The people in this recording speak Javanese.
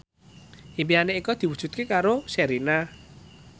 impine Eko diwujudke karo Sherina